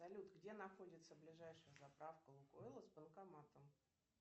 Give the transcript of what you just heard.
салют где находится ближайшая заправка лукойла с банкоматом